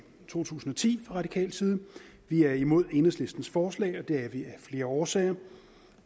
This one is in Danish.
to tusind og ti fra radikal side vi er imod enhedslistens forslag og det er vi af flere årsager